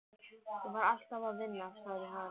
Ég var alltaf að vinna, sagði hann.